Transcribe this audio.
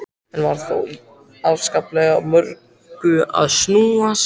Enn var þó í afskaplega mörgu að snúast.